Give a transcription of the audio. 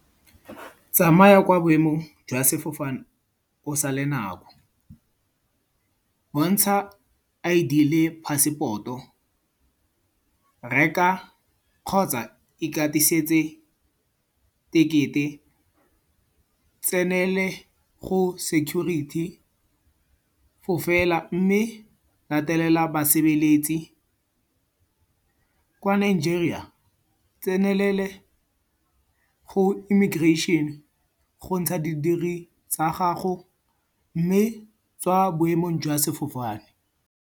Tsamaya kwa boemong jwa sefofane go sale nako. Bontsha I_D le passport-o. Reka, kgotsa ikatisetse tekete. Tsenela go security, fofela mme latelela basebeletsi. Kwa Nigeria, tsenelela go immigration go ntsha didiri tsa gago mme tswa boemong jwa sefofane.